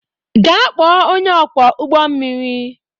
Gaa kpọọ onye ọkwọ ụgbọ mmiri